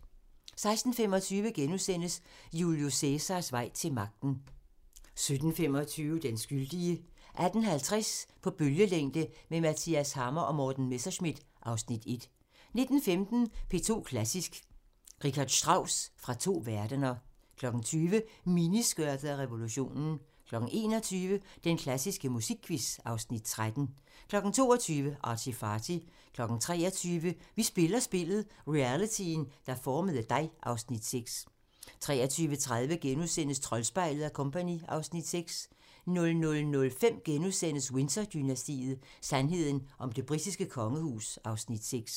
16:25: Julius Cæsars vej til magten * 17:25: Den skyldige 18:50: På bølgelængde med Mathias Hammer & Morten Messerschmidt (Afs. 1) 19:15: DR2 Klassisk: Richard Strauss fra to verdener 20:00: Miniskørtet og revolutionen 21:00: Den klassiske musikquiz (Afs. 13) 22:00: ArtyFarty 23:00: Vi spiller spillet – realityen der formede dig (Afs. 6) 23:30: Troldspejlet & Co. (Afs. 6)* 00:05: Windsor-dynastiet: Sandheden om det britiske kongehus (Afs. 6)*